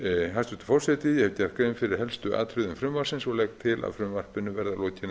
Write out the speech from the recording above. hæstvirtur forseti ég hef gert grein fyrir helstu atriðum frumvarpsins og legg til